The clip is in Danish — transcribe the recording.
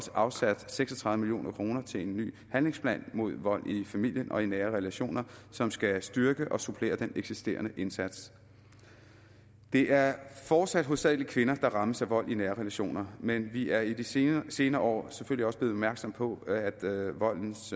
afsat seks og tredive million kroner til en ny handlingsplan mod vold i familien og i nære relationer som skal styrke og supplere den eksisterende indsats det er fortsat hovedsagelig kvinder der rammes af vold i nære relationer men vi er i de senere senere år selvfølgelig også blevet opmærksomme på at voldens